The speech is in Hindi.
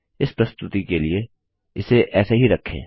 इस प्रस्तुति के लिए इसे ऐसे ही रखें